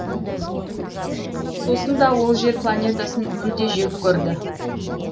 сосын да ол жер планетасын мүлде жек көрді